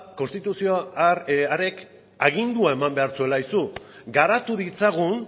konstituzio harrek agindua eman behar zuela aizu garatu ditzagun